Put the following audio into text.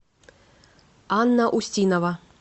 анна устинова